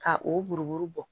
Ka o buruburu bɔ